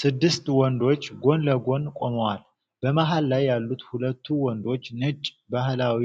ስድስት ወንዶች ጎን ለጎን ቆመዋል። በመሃል ላይ ያሉት ሁለቱ ወንዶች ነጭ ባህላዊ